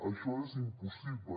això és impossible